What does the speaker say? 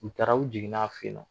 U taara u jiginn'a fɛ yen nɔ